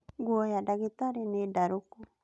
Nguo ya ndagĩtarĩ nĩ ndarũku